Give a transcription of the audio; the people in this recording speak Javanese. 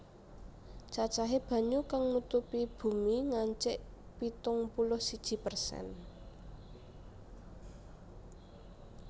Cacahé banyu kang nutupi bumi ngancik pitung puluh siji persen